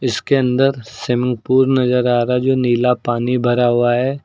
इसके अन्दर स्वीमिंगपूल नजर आ रहा हैं जो नीला पानी भरा हुआ है।